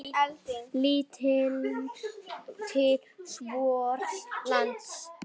Lítum til vors lands.